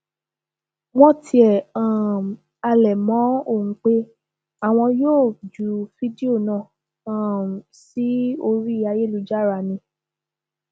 wọn tiẹ um halẹ mọ ọn pé àwọn yóò ju fídíò náà um sí orí ayélujára ni